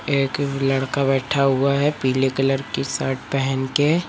एक लड़का बैठा हुआ है पीले कलर की शर्ट पहन के।